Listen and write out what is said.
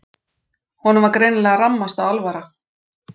Honum var greinilega rammasta alvara.